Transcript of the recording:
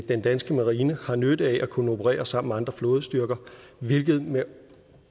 den danske marine har nytte af at kunne operere sammen med andre flådestyrker hvilket med